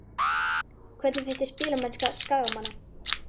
Hvernig finnst þér spilamennska Skagamanna?